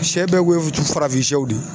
Sɛ bɛɛ farafinsɛw de ye.